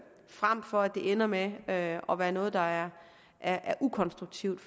frem for at det ender med at at være noget der er er ukonstruktivt